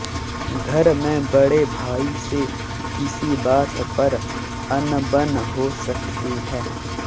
घर में बड़े भाई से किसी बात पर अनबन हो सकती है